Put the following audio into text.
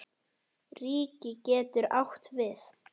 Ríki getur átt við